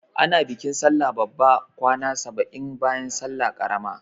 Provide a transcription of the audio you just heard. Ana bikin sallah babba kwana saba'in bayan salla ƙarama.